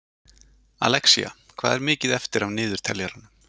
Alexía, hvað er mikið eftir af niðurteljaranum?